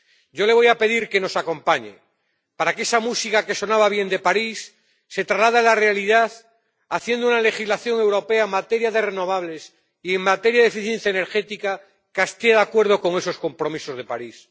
Yo le voy a pedir que nos acompañe para que esa música que sonaba bien en París se traslade a la realidad, haciendo una legislación europea en materia de renovables y en materia de eficiencia energética que esté de acuerdo con esos compromisos de París.